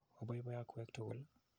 Opoipoi okwek tukul.